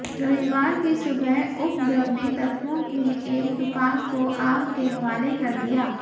रविवार की सुबह उपद्रवी तत्वों ने एक दुकान को आग के हवाले कर दिया